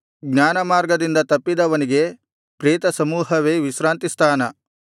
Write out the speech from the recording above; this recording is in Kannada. ಜ್ಞಾನಮಾರ್ಗದಿಂದ ತಪ್ಪಿದವನಿಗೆ ಪ್ರೇತಸಮೂಹವೇ ವಿಶ್ರಾಂತಿಸ್ಥಾನ